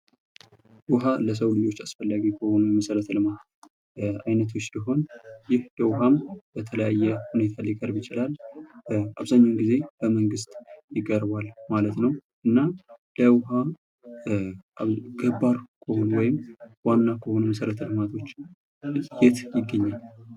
ዉሃ ለሰው ልጆች አስፈላጊ መሰረተ ልማቶች ውስጥ አንዱ ሲሆን ይህ ውሃም በተለያዩ ሁነቶች ሊቀርብ ይችላል። አብዛኛውን ጊዜ በመንግስት ይቀርባል ማለት ነው። እናም ለውሀም ገባር ከሆኑ ወይም ዋና ከሆኑ መሰረተ-ልማቶች የት ይገኛል?